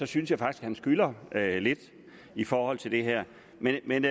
synes jeg faktisk han skylder lidt i forhold til det her men men